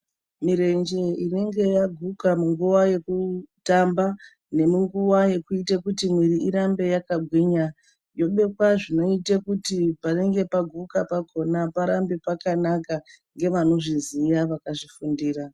Mirenje inenge yaguka munguwa yekutamba nemunguwa yekuita kuti miwiri irambe yakagwinya yobekwa zvinoite kuti panenge paguka pakona parambe pakanaka ngevanozviziya vakazvifundira.